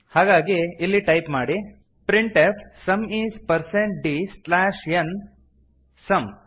ಹಾಗಾಗಿ ಇಲ್ಲಿ ಟೈಪ್ ಮಾಡಿ printf sum is percent d slash n double quotes some